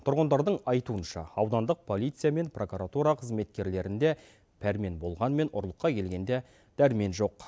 тұрғындардың айтуынша аудандық полиция мен прокуратура қызметкерлерінде пәрмен болғанымен ұрлыққа келгенде дәрмен жоқ